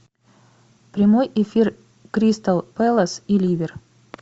прямой эфир кристал пэлас и ливер